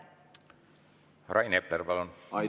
Rain Epler, palun!